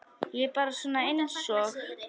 Ég er bara svona einsog.